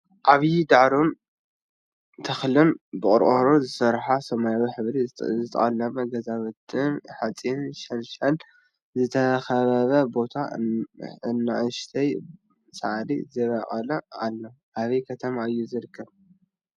ዓባይ ድዓሮን ተክልን ብቆርቆሮ ዝተሰርሐን ሰማያዊ ሕብሪ ዝተቀለመ ገዛውትንብሓፂን ሸንሸል ዝተከበበ ቦታን ኣናእሽተይ ሳዕሪ ዝበቀሎ ኣሎ ኣበይ ከተማ እዩ ዝርከብ?